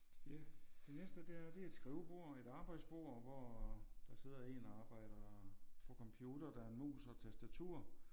Ja det næste det er det er et skrivebord et arbejdsbord hvor der sidder en og arbejder på computer der er mus og tastatur